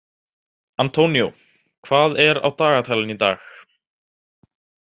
Antonio, hvað er á dagatalinu í dag?